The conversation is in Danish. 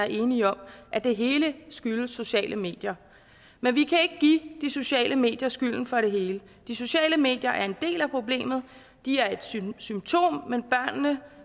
enige om at det hele skyldes de sociale medier men vi kan ikke give de sociale medier skylden for hele de sociale medier er en del af problemet de er et symptom